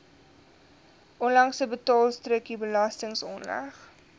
onlangse betaalstrokie belastingaanslag